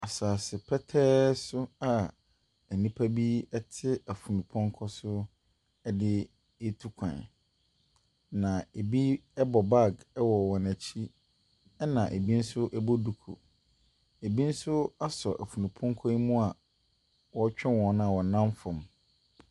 Asaase pɛtɛɛ so a enipa bi ɛte efunu pɔnkɔ so, ɛdetukwan . Na ebi ɛbɔ bag ɛwɔ wɔn akyi , ɛna ebi nso ɛbɔ duku. Ebi nso asɔ efunu pɔnkɔ ɔretwi wɔn a ɔnam fam.